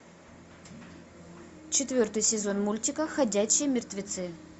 четвертый сезон мультика ходячие мертвецы